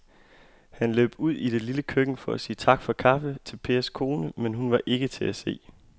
Han løb ud i det lille køkken for at sige tak for kaffe til Pers kone, men hun var ikke til at se.